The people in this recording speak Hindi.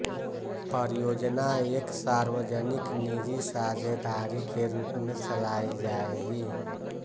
परियोजना एक सार्वजनिक निजी साझेदारी के रूप में चलाई जाएगी